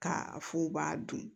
K'a f'u b'a dun